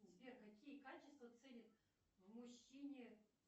сбер какие качества ценят в мужчине